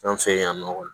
An fɛ yan nɔ